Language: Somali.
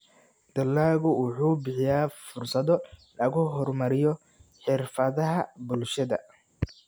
Dalaggu wuxuu bixiyaa fursado lagu horumariyo xirfadaha bulshada.